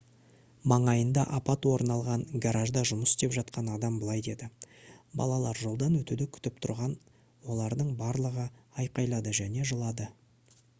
маңайында апат орын алған гаражда жұмыс істеп жатқан адам былай деді: «балалар жолдан өтуді күтіп тұрған олардың барлығы айқайлады және жылады»